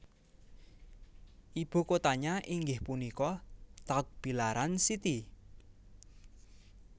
Ibu kotanya inggih punika Tagbilaran City